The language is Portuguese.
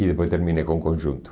E depois terminei com conjunto.